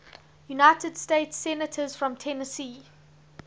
united states senators from tennessee